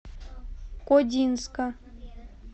кодинска